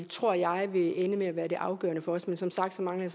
tror jeg vil ende med at være det afgørende for os men som sagt mangler